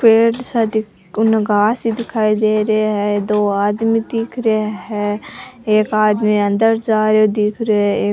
पेड़ सा कोई घास सा दिखाई दे रहे है दो आदमी दिख रे है एक आदमी अंदर जा रेहो दीख रे है एक --